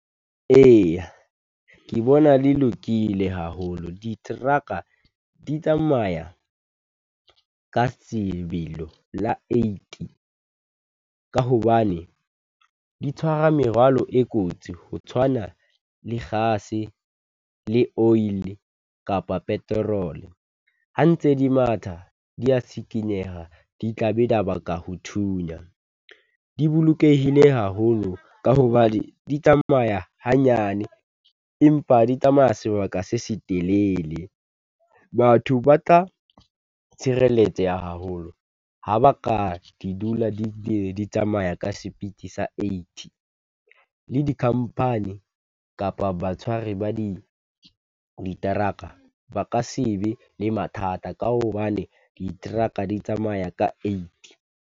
Eya ke bona le lokile haholo. Diteraka di tsamaya ka sebelo la eighty ka hobane di tshwara merwalo e kotsi ho tshwana le kgase, le oil-i kapa peterole. Ha ntse di matha, di ya tshikinyeha, di tla be di ya baka ho thunya. Di bolokehile haholo ka hobane di tsamaya hanyane, empa di tsamaya sebaka se setelele. Batho ba tla tshireletseha haholo, ha ba ka di dula di di tsamaya ka Sepiti sa eighty. Le di-company kapa batshwari ba di, diteraka ba ka se be le mathata ka hobane diteraka di tsamaya ka eighty.